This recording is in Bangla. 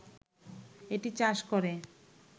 এটি চাষ করে